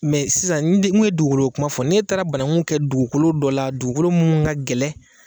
sisan ni n ye duguko kuma fɔ n'e taara bananku kɛ dugukolo dɔ la dugukolo mun ka gɛlɛn